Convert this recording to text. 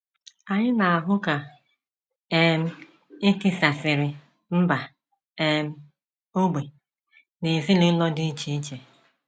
Anyị na - ahụ ka um e tisasịrị mba um, ógbè, na ezinụlọ dị iche iche.